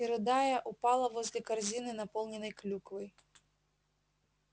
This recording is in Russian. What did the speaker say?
и рыдая упала возле корзины наполненной клюквой